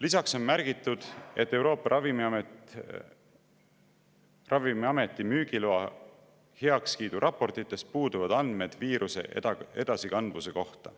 Lisaks on märgitud, et Euroopa Ravimiameti müügiloa heakskiidu raportites puuduvad andmed viiruse edasikandvuse kohta.